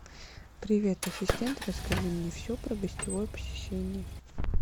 привет ассистент расскажи мне все про гостевое посещение